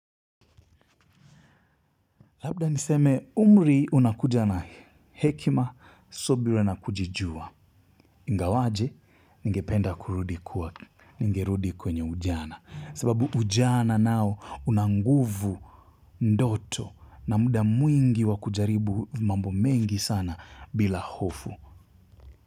Labda niseme umri unakuja na hekima subira na kujijua. Ingawaje ningependa kurudi kwa ningerudi kwenye ujana. Sababu ujana nao una nguvu ndoto na muda mwingi wa kujaribu mambo mengi sana bila hofu.